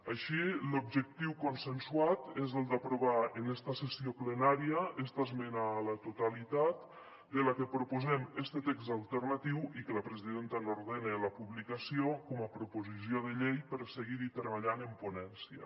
així l’objectiu consensuat és el d’aprovar en esta sessió plenària esta esmena a la totalitat de la que proposem este text alternatiu i que la presidenta n’ordena la publicació com a proposició de llei per seguir hi treballant en ponència